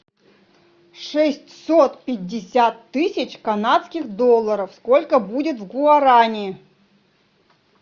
шестьсот пятьдесят тысяч канадских долларов сколько будет в гуарани